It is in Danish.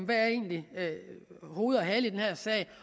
der egentlig er hoved og hale i den her sag